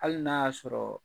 Hali n'a y'a sɔrɔ